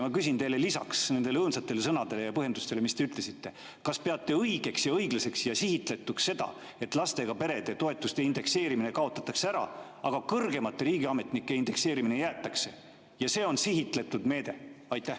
Ma küsin teilt lisaks nendele õõnsatele sõnadele ja põhjendustele, mis te ütlesite: kas peate õigeks ja õiglaseks ja sihituks seda, et lastega perede toetuste indekseerimine kaotatakse ära, aga kõrgemate riigiametnike indekseerimine jäetakse, ja see on sihitud meede?